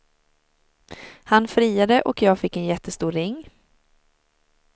Han friade och jag fick en jättestor ring.